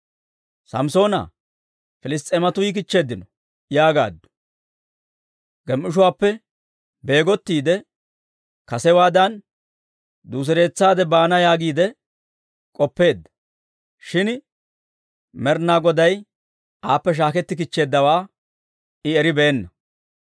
«Samssoona, Piliss's'eematuu yikichcheeddino!» yaagaaddu. Gem"ishuwaappe beegottiide, kasewaadan duusereetsaade baana yaagiide k'oppeedda; shin Med'inaa Goday aappe shaaketti kichcheeddawaa I eribeenna.